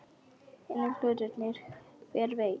Hinir hlutirnir. hver veit?